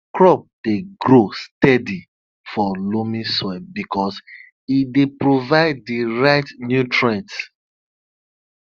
crops dey grow steady for loamy soil because e dey provide di right nutrients